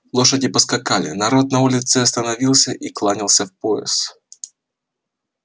лошади поскакали народ на улице остановился и кланялся в пояс